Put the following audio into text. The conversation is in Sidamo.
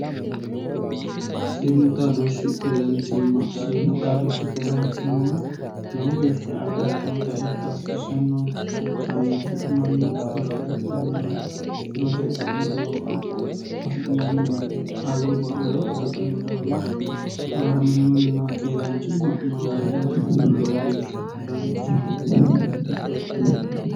siimu xaadoshi keeraanchimma siimu xadooshi keeranichima lowo geeshsha agarantinota ikka hasisannonke hakkaannitti mannu sirote garinni sirote widoo afi'neemmo kayubba lowoti hedhanno daafo agaraminonna keeraanchimma noo garinni ikkiro lowo geeshsha danchaho hatto yitanno hedo heedhannoe